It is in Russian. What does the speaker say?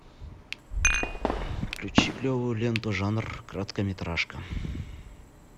включи клевую ленту жанр короткометражка